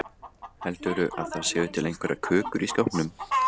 Heldurðu að það séu til einhverjar kökur í skápnum?